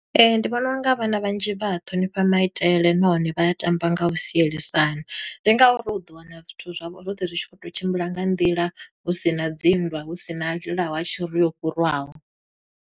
Ee, ndi vhona unga vhana vhanzhi vha a ṱhonifha maitele nahone vha ya tamba nga u sielisana. Ndi ngauri u ḓo wana zwithu zwavho zwoṱhe zwi tshi khou to tshimbila nga nḓila, hu sina dzi nndwa, hu sina a lilaho a tshi ri, o fhurwaho.